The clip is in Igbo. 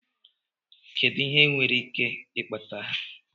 Kedụ ihe ndị nwere ike ikpata agha.